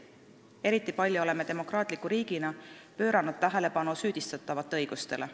Eriti palju oleme demokraatliku riigina pööranud tähelepanu süüdistatavate õigustele.